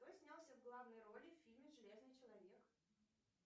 кто снялся в главной роли в фильме железный человек